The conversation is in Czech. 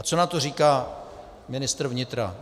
A co na to říká ministr vnitra?